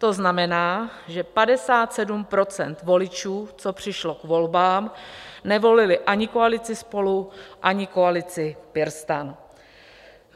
To znamená, že 57 % voličů, co přišlo k volbám, nevolilo ani koalici SPOLU, ani koalici PirSTAN.